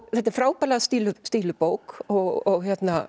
þetta er frábærlega stíluð stíluð bók og